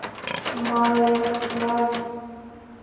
малоярославец